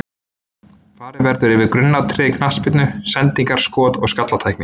Farið verður yfir grunnatriði í knattspyrnu: Sendingar, skot og skallatækni.